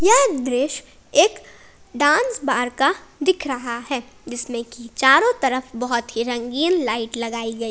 यह दृश्य एक डांस बार का दिख रहा है जिसमें की चारों तरफ बहोत ही रंगीन लाइट लगाई गई।